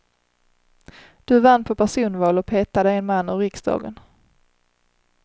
Du vann på personval och petade en man ur riksdagen.